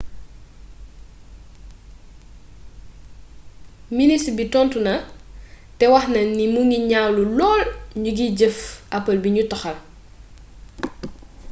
ministre bi tontu na te waxna ni mingi ñaawlu lool njukkiy jëf apple bi ñu toxal